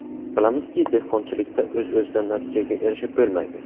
Bilamizki, dehqonchilikda o‘z-o‘zidan natijaga erishib bo‘lmaydi.